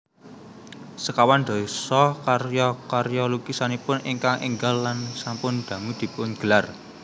Sekawan dasa karya karya lukisanipun ingkang énggal lan sampun dangu dipungelar